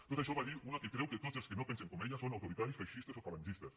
tot això ho va dir una que creu que tots els que no pensen com ella són autoritaris feixistes o falangistes